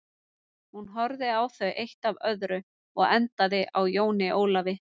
Hún horfði á þau eitt af öðru og endaði á Jóni Ólafi.